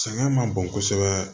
Sɛgɛn man bon kosɛbɛ